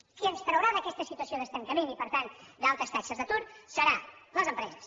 qui ens traurà d’aquesta situació d’estancament i per tant d’altes taxes d’atur seran les empreses